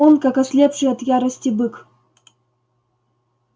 он как ослепший от ярости бык